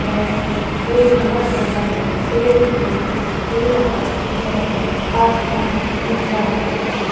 है एक बहोत बड़ा पेड़ दिखाई दे रहा है आसमान दिख रहा हैं।